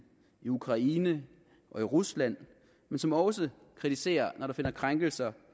i ukraine og i rusland men som også kritiserer når der finder krænkelser